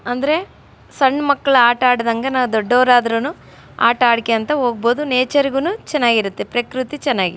ಅಂದ್ರೆ ಸಣ್ಣ ಮಕ್ಳು ಆಟ ಆಡಿದ್ಹ್ಯಾಂಗೆ ನಾವು ದೊಡ್ಡವರಾದ್ರು ಆಟ ಆಡ್ಕಂತ ಹೋಗ್ಬಹುದು ನೇಚರ್ ಗು ಚೆನ್ನಾಗಿರುತ್ತೆ ಪ್ರಕ್ರತಿ ಚೆನ್ನಾಗಿ --